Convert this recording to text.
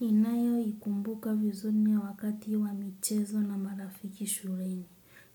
Ninayo ikumbuka vizuri ya wakati wa michezo na marafiki shuleni.